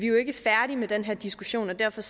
jo ikke færdige med den her diskussion og derfor